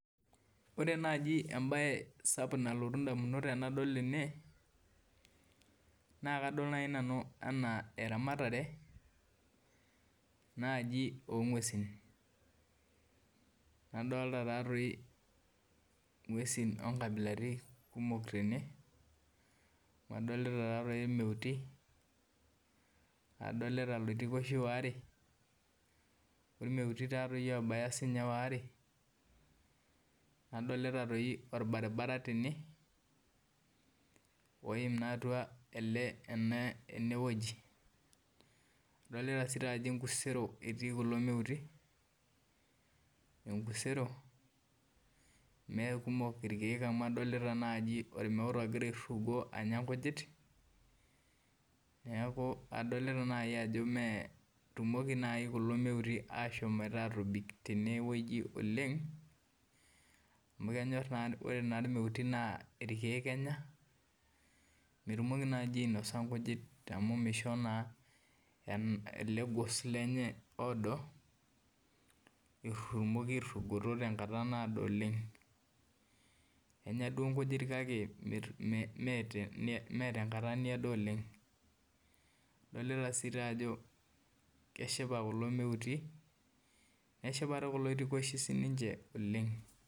Ore naji emba sapuk nalotu ndamunot tanadol ene na kadol nai nanu ana eramatare ongwesin nadolta taatoi ngwesi nkabilaitin kumok tene amu adolta irmeuti, adolta iloitokoshi waare ormeuti sinche obaya waare adolta si orbaribara tene oim atua enewueji adolta si ajo enkusero etii kulo meuti amu adolta nai ormeut ogira airugo anya kuna kujit neaku adolta nai ajo metumoki nai kulo meuti ashom atobik tenewueji oleng amu kenyor na ore na irmeuti na irkiek enya metumoki nai ainosa nkujit amu misho ele gos lenye oodo irugo tenkata naado oleng enya duo nkujit kakemetengata naado oleng adolta si ajo keshipa kulo meuti neshipa kulo oitikoshi oleng.